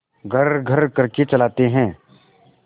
घर्रघर्र करके चलाते हैं